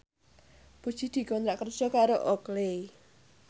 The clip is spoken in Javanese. Puji dikontrak kerja karo Oakley